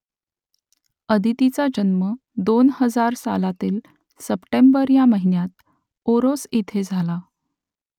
आदितीचा जन्म दोन हजार सालातील सप्टेंबर या महिन्यात ओरोस इथे झाला